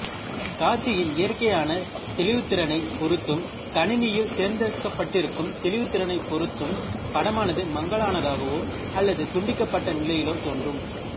காட்சியின் இயற்கையான தெளிவுத்திறனைப் பொருத்தும் கணினியில் தேர்ந்தெடுக்கப்பட்டிருக்கும் தெளிவுத்திறனைப் பொருத்தும் படமானது மங்கலானதாகவோ அல்லது துண்டிக்கப்பட்ட நிலையிலோ தோன்றும்